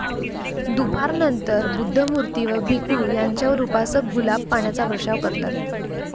दुपारनंतर बुद्धमूर्ती व भिखू यांच्यावर उपासक गुलाब पाण्याचा वर्षाव करतात.